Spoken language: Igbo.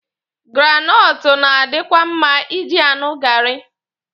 Granọtụ na-adikwa mma Ị ji aṅụ gaarị.